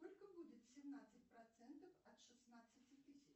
сколько будет семнадцать процентов от шестнадцати тысяч